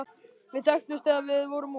Við þekktumst þegar við vorum ung.